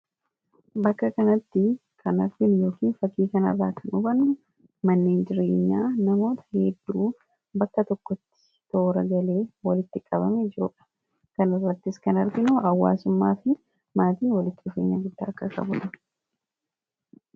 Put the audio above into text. Bakka kanatti kan arginu yookiin fakii kana irraa kan hubannu manneen jireenyaa namoota hedduu bakka tokkotti toora galee walitti qabame jiruudha. Kan irrattis kan arginu hawwaasummaa fi maatii walitti dhufeenya guddaa akkaa qabu kan arginudha.